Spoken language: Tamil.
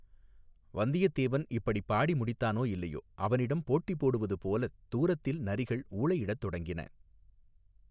வந்தியத்தேவன் இப்படிப் பாடி முடித்தானோ இல்லையோ அவனுடம் போட்டி போடுவது போலத் தூரத்தில் நரிகள் ஊளையிடத் தொடங்கின.